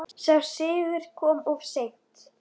Sá sigur kom of seint.